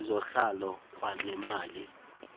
izohlwayo kwanemali esisemva